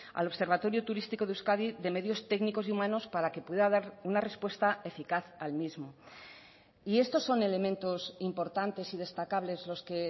al observatorio turístico de euskadi de medios técnicos y humanos para que pueda dar una respuesta eficaz al mismo y estos son elementos importantes y destacables los que